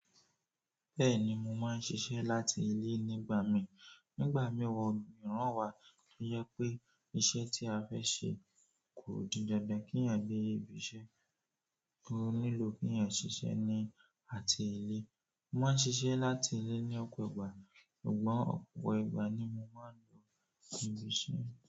Bẹ́ẹ̀ni, mo máa ń ṣiṣẹ́ láti ilé nígbà mìí. Nígbà mìíràn wa to je pe iṣẹ́ ti a fe se, ko di dandan keyan lo ibi iṣẹ́. Ó nílò keyan ṣiṣẹ́ ní àti ilé. Mo máa ń ṣiṣẹ́ láti ilé ní ọ̀pọ̀ ìgbà, ṣùgbọ́n ọ̀pọ̀ ìgbà ni mo máa ń lọ ibi iṣẹ́.